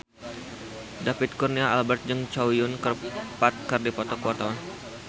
David Kurnia Albert jeung Chow Yun Fat keur dipoto ku wartawan